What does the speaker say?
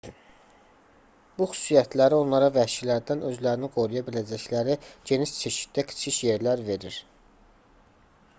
bu xüsusiyyətləri onlara vəhşilərdən özlərini qoruya biləcəkləri geniş çeşiddə kiçik yerlər verir